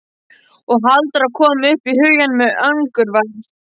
Og Halldóra kom upp í hugann með angurværð.